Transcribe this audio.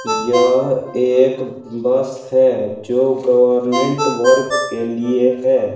यह एक बस है जो गवर्नमेंट वर्क के लिए है।